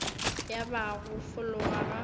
ya ba go fologa ga